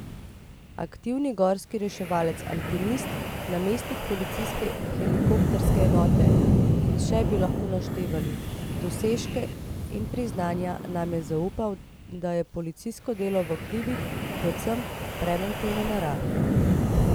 Aktivni gorski reševalec, alpinist, namestnik policijske helikopterske enote in še bi lahko naštevali dosežke in priznanja, nam je zaupal, da je policijsko delo v hribih predvsem preventive narave.